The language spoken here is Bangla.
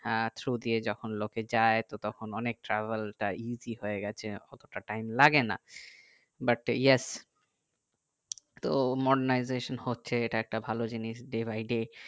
হ্যাঁ ছুটিয়ে যখন লোকে যাই তো অনেক travel তাই easy হয়ে গেছে অতটা time লাগে না but yes তো modenizatio হচ্ছে এটা একটা ভালো জিনিস day by day